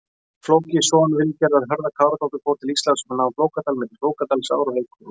Flóki, son Vilgerðar Hörða-Káradóttur fór til Íslands og nam Flókadal, milli Flókadalsár og Reykjarhóls.